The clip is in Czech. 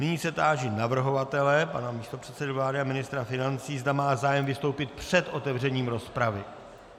Nyní se táži navrhovatele pana místopředsedy vlády a ministra financí, zda má zájem vystoupit před otevřením rozpravy.